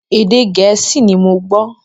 Èdè Gẹ̀ẹ́sì ni mo gbọ́.